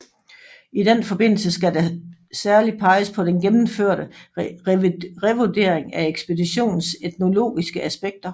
I den forbindelse skal der særlig peges på den gennemførte revurdering af ekspeditionens etnologiske aspekter